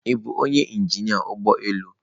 Ị bụ onye injinia ụgbọ elu?